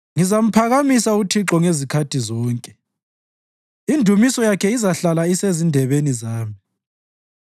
Ngizamphakamisa uThixo ngezikhathi zonke; indumiso yakhe izahlala isezindebeni zami.